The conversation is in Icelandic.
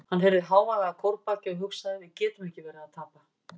Hann heyrði hávaða að kórbaki og hugsaði: við getum ekki verið að tapa.